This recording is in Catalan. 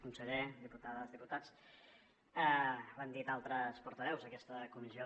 conseller diputades diputats ho han dit altres portaveus aquesta comissió